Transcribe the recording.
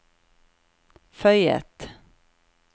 føyet